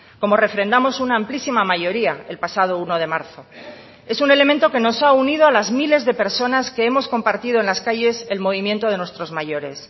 como refrendamos una amplísima mayoría el pasado uno de marzo es un elemento que nos ha unido a las miles de personas que hemos compartido en las calles el movimiento de nuestros mayores